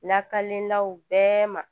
Lakalenlaw bɛɛ ma